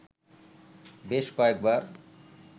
বেশ কয়েকবার